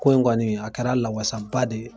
Ko in ŋɔni a kɛra lawasaba de ye.